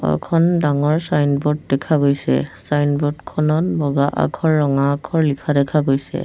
এখন ডাঙৰ ছাইনব'ৰ্ড দেখা গৈছে ছাইনব'ৰ্ড খনত বগা আখৰ ৰঙা আখৰ লিখা দেখা গৈছে।